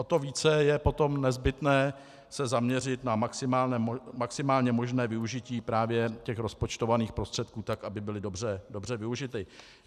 O to více je potom nezbytné se zaměřit na maximálně možné využití právě těch rozpočtovaných prostředků tak, aby byly dobře využity.